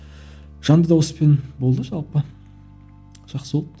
жанды дауыспен болды жалпы жақсы болды